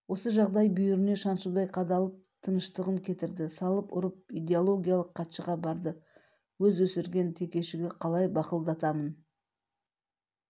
осы жағдай бүйіріне шаншудай қадалып тынышын кетірді салып-ұрып идеологиялық хатшыға барды өз өсірген текешігі қалай бақылдатамын